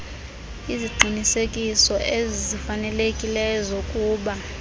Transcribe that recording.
iziqinisekiso ezifanelekileyo zokuba